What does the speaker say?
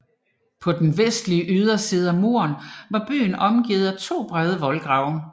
På den vestlige yderside af muren var byen omgivet af to brede voldgrave